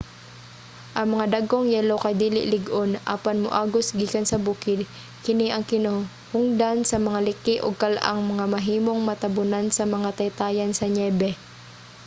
ang mga dagkong yelo kay dili lig-on apan moagos gikan sa bukid. kini ang hinungdan sa mga liki ug kal-ang nga mahimong matabunan sa mga taytayan sa niyebe